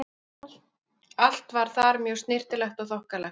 Allt var þar mjög snyrtilegt og þokkalegt.